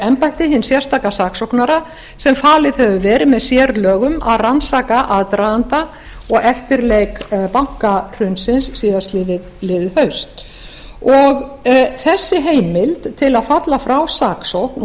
embætti hins sérstaka saksóknara sem falið hefur verið með sérlögum að rannsaka aðdraganda og eftirleik bankahrunsins síðastliðið haust þessi heimild til að falla frá saksókn